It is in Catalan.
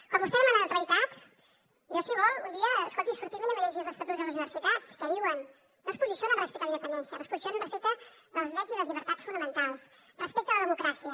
com vostè demana neutralitat jo si vol un dia escolti sortim i anem a llegir els estatuts de les universitats què diuen no es posicionen respecte a la independència es posicionen respecte dels drets i les llibertats fonamentals respecte a la democràcia